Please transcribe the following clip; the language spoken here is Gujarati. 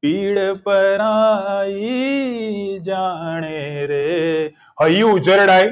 પીળ પરાઈ જાણે રે હૈયું ઉજરડાય